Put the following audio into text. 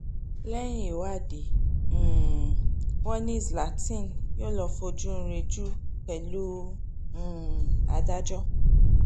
lẹ́yìn ìwádìí um wọn ni zlathin yóò lọ́ọ́ fojú rìnjù pẹ̀lú um adájọ́